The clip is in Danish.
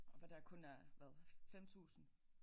Hvor der kun er hvad 5000